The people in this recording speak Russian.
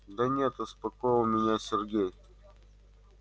да нет успокоил меня сергей